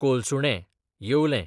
कोलसुणें, येवलें